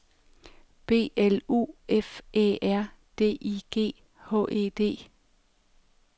B L U F Æ R D I G H E D